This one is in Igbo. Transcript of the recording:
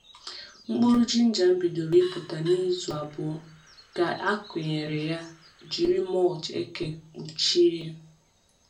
Mkpụrụ jinja m bidoro ịpụta n’izu abụọ ka e kụrụ ya jiri mulch eke kpuchie.